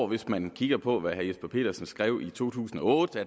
hvis man kigger på hvad herre jesper petersen skrev i to tusind og otte